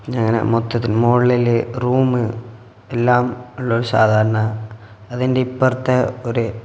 ഞാനാ മൊത്തത്തിൽ മോളില് റൂമ് എല്ലാം ഉള്ള ഒരു സാധാരണ അതിന്റെ ഇപ്പർത്തെ ഒരു--